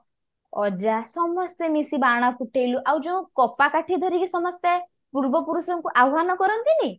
ଅଜା ସମସ୍ତେ ମିଶି ବାଣ ଫୁଟେଇଲୁ ଆଉ ଯଉ କପା କାଠି ଧରିକି ସମସ୍ତେ ପୂର୍ବପୁରୁଷଙ୍କୁ ଆହ୍ଵାନ କରନ୍ତିନି